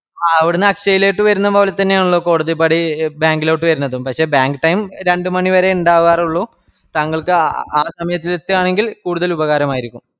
ആഹ് അവിടന്ന് അക്ഷലേക്ക് വേർന്നപോലെതന്നെയാണല്ലോ കോടതിപ്പടി bank ലോട്ട് വെര്ന്നത് പക്ഷെ bank time രണ്ട് മണിവരെ ഇണ്ടാവാറുള്ളു താങ്കൾക്ക് അ ആ സമയത്ത് എത്തുവാണെങ്കിൽ കൂടുതൽ ഉപകാരമായിരിക്കും